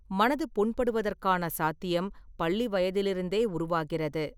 மனது புண்படுவதற்கான சாத்தியம் பள்ளி வயதிலிருந்தே உருவாகிறது.